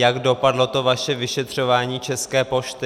Jak dopadlo to vaše vyšetřování České pošty?